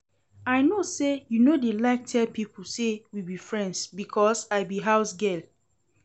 I no say you no dey like tell people say we be friends because I be housegirl